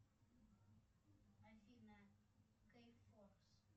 афина кейфорс